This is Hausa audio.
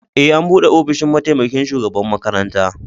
E, an bude ofishin mataimaƙin shugaɓan makaranta.